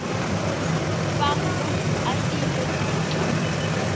fa mokopi a filwe tetla